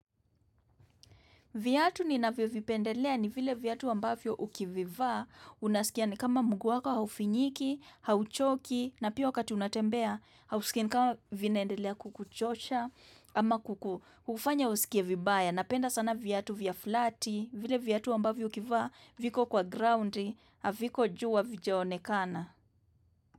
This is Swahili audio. Viatu ninavyovipendelea ni vile vyatu wambavyo ukivivaa, unaskia ni kama mguu wako haufinyiki, hauchoki, na pia wakati unatembea, hausikia ni kama vinaendelea kukuchosha, ama kukuhufanya usikievibaya, napenda sana vyatu vya flati, vile vyatu ambavyo ukivaa, viko kwa groundi, aviko juu havijonekana.